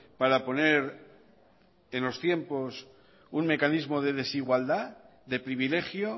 para poner en los tiempos un mecanismo de desigualdad de privilegio